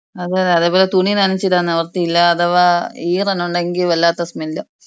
അതെ അതേപോലെ തുണി നനച്ചീടാൻ നിവർത്തിയില്ല. അഥവാ ഈറനുണ്ടെങ്കി വല്ലാത്ത സ്മെല്ലും.